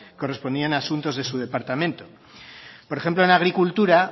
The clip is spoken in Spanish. correspondían a asuntos de su departamento por ejemplo en agricultura